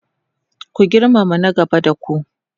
ku girmama na gaba da ku!